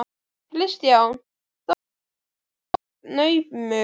Kristján: Þó hann verið mjög naumur?